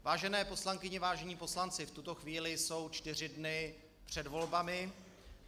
Vážené poslankyně, vážení poslanci, v tuto chvíli jsou čtyři dny před volbami.